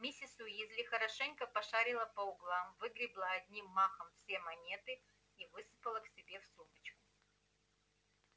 миссис уизли хорошенько пошарила по углам выгребла одним махом все монеты и высыпала к себе в сумочку